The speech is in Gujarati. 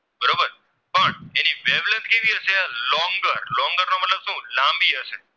તે Longer Longer નો મતલબ સુ લાંબી હશે